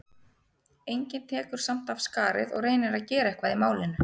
Enginn tekur samt af skarið og reynir að gera eitthvað í málinu.